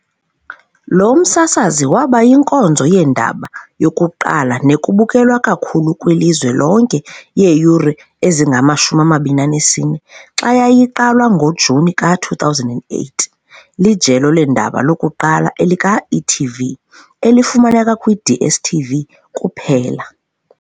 Lo msasazi waba yinkonzo yeendaba yokuqala nebukelwa kakhulu kwilizwe lonke yeeyure ezingama-24 xa yayiqalwa ngoJuni ka-2008. Lijelo leendaba lokuqala elika-e.tv elifumaneka kwi-DStv kuphela.